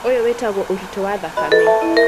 Ũyũ wĩtagwo ũritũ wa thakame.